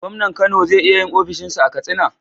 gomnan Kano ze iya yin ofishin sa a katsina